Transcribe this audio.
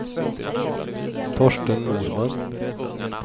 Torsten Norman